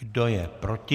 Kdo je proti?